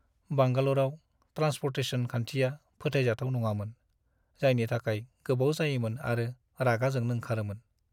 बांगालरआव transportation खान्थिया फोथायजाथाव नङामोन, जायनि थाखाय गोबाव जायोमोन आरो रागा जोंनो ओंखारोमोन।